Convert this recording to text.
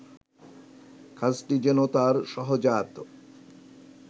কাজটি যেন তাঁর সহজাত